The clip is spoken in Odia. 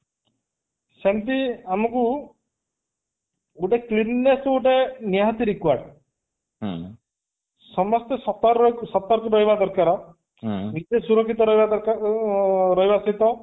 ସେମିତି ଆମକୁ ଗୋଟେ clean ness ଗୋଟେ ନିହାତି required ସମସ୍ତେ ଶତର ସତର୍କ ରହିବା ଦରକାର ନିଜେ ସୁରକ୍ଷିତ ରହିବା ଦରକାର ଓ ରହିବା ସ୍ଥିତ